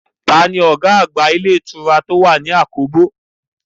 Taa ni ọ̀gá àgbà ilé ìtura tó wà ní àkóbò?